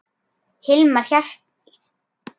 Hilmar hélt í land.